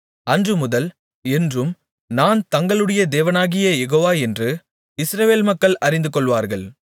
அன்றுமுதல் என்றும் நான் தங்களுடைய தேவனாகிய யெகோவா என்று இஸ்ரவேல் மக்கள் அறிந்துகொள்வார்கள்